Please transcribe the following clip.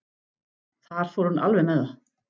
Þar fór hún alveg með það.